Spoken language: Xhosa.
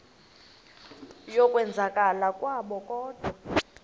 yokwenzakala kwabo kodwa